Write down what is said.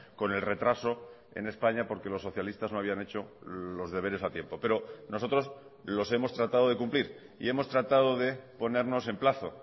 con el retraso en españa porque los socialistas no habían hecho los deberes a tiempo pero nosotros los hemos tratado de cumplir y hemos tratado de ponernos en plazo